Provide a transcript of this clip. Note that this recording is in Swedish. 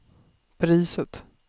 priset